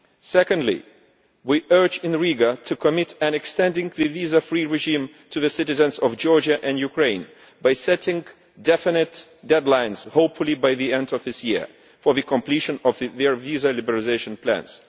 Secondly, we urge in Riga to commit to extending the visa free regime to the citizens of Georgia and Ukraine by setting definite deadlines, hopefully by the end of this year, for the completion of their visa liberalisation plans.